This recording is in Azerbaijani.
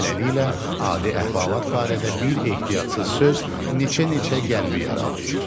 Beləliklə, adi əhvalat barədə bir ehtiyatsız söz neçə-neçə qəlbi yaralayır.